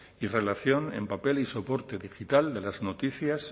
y relación en papel y soporte digital de las noticias